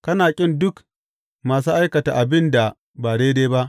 Kana ƙin duk masu aikata abin da ba daidai ba.